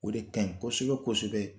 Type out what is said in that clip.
O de kaɲi kosɛbɛ kosɛbɛ.